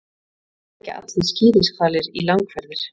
Ekki leggja allir skíðishvalir í langferðir.